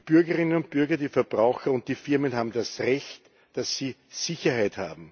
Die Bürgerinnen und Bürger, die Verbraucher und die Firmen haben das Recht auf Sicherheit.